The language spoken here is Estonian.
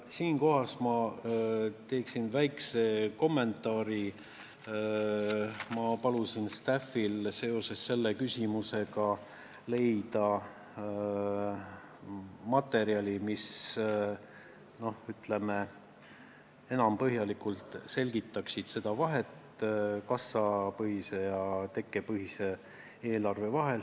Siinkohal minult väike kommentaar: seoses selle küsimusega ma palusin staff'il leida materjali, mis põhjalikumalt selgitaks vahet kassapõhise ja tekkepõhise eelarve vahel.